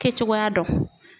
Kɛ cogoya dɔn